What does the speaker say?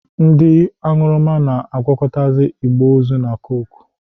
Ndị aṅụrụma na-agwakọta igbe ozu na koke